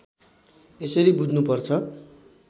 यसरी बुझ्नुपर्छ